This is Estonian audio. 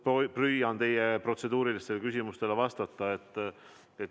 Ma püüan teie protseduurilistele küsimustele vastata.